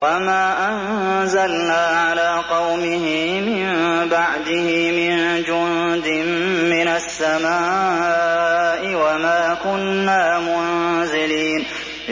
۞ وَمَا أَنزَلْنَا عَلَىٰ قَوْمِهِ مِن بَعْدِهِ مِن جُندٍ مِّنَ السَّمَاءِ وَمَا كُنَّا مُنزِلِينَ